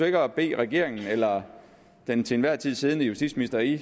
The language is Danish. ikke at bede regeringen eller den til enhver tid siddende justitsminister i